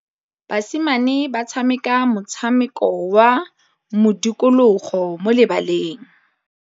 Basimane ba tshameka motshameko wa modikologô mo lebaleng.